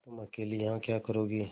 तुम अकेली यहाँ क्या करोगी